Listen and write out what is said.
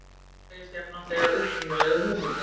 Hann segist jafnframt eiga upprunalegu hugmyndina